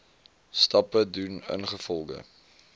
stappe doen ingevolge